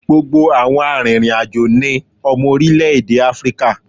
Gbogbo àwọn arìnrìn-àjò ni ọmọ orílẹ̀ èdè Áfíríkà.